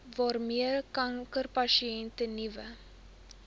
waarmee kankerspesialiste nuwe